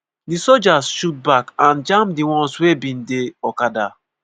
di sojas shoot back and jam di ones wey bin dey okada.